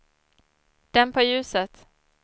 dämpa ljuset